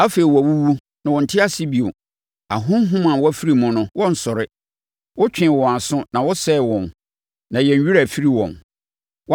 Afei wɔawuwu, na wɔnte ase bio; ahonhom a wɔafiri mu no, wɔrensɔre. Wotwee wɔn aso na wo sɛee wɔn na yɛn werɛ afiri wɔn.